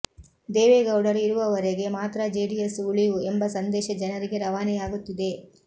ದೇವೇಗೌಡರು ಇರುವವರೆಗೆ ಮಾತ್ರ ಜೆಡಿಎಸ್ ಉಳಿವು ಎಂಬ ಸಂದೇಶ ಜನರಿಗೆ ರವಾನೆಯಾಗುತ್ತಿದೆ